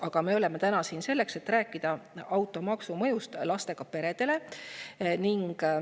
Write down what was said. Aga me oleme siin täna selleks, et rääkida automaksu mõjust lastega peredele.